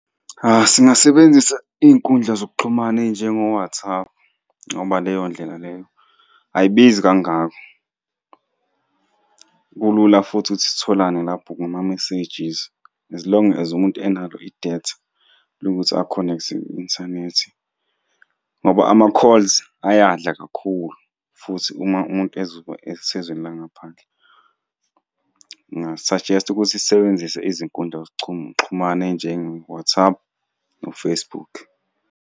Singasebenzisa iy'nkundla zokuxhumana ey'njengo-WhatsApp, ngoba leyo ndlela leyo ayibizi kangako. Kulula futhi ukuthi sitholane lapho ngama-messages as long as umuntu enalo idatha lokuthi akhonekthe ku-inthanethi, ngoba ama-calls ayadla kakhulu futhi uma umuntu ezoba ezweni langaphandle. Nginga-suggest-a ukuthi sisebenzise izinkundla ezichuma xhumana ey'njengo-WhatsApp no-Facebook.